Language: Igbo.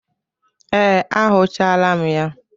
Ee, akwụchala m ya.